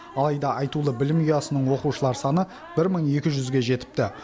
алайда айтулы білім ұясының оқушылар саны бір мың екі жүзге жетіпті